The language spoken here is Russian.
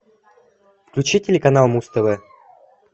включи телеканал муз тв